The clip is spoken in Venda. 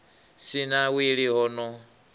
si na wili ho no